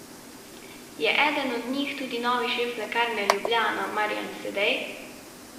Je eden od njih tudi novi šef Lekarne Ljubljana Marjan Sedej?